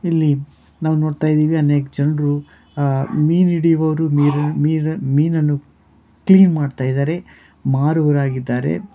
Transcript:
ಇಲ್ಲಿ ನಾವ್ ನೋಡ್ತಾ ಇದೀವಿ ಅನೇಕ ಜನ್ರು ಅಹ್ ಮೀನ್ ಹಿಡಿಯುವವ್ರು ಮೀನ್ಮೀನ್ ಮೀನನ್ನು ಕ್ಲೀನ್ ಮಾಡ್ತಾ ಇದ್ದಾರೆ ಮಾರುವವರಾಗಿದ್ದಾರೆ.